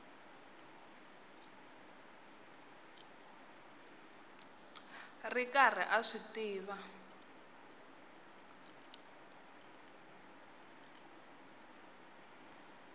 ri karhi a swi tiva